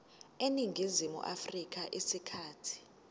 eningizimu afrika isikhathi